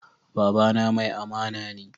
Baba na mai amana ne